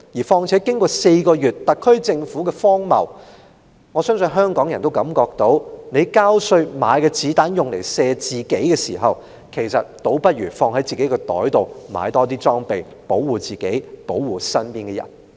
再者，經歷了這4個月間特區政府的荒謬，相信香港人都會感到，與其交稅買子彈來射自己，倒不如把錢放在自己口袋，買更多裝備保護自己、保護身邊人。